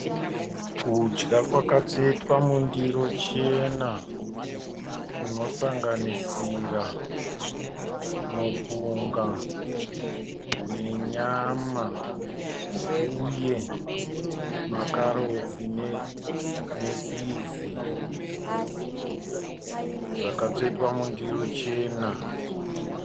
Kudya kwakatsvetwa mundiro chena kunosanganisira mupunga nenyama uye makarotsi ne pizi. Zvakatsvetwa mundiro chena.